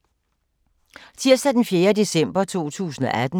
Tirsdag d. 4. december 2018